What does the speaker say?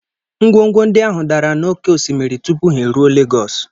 Ngwongwo ndị ahụ dara n'oké osimiri tupu ha eruo Lagos.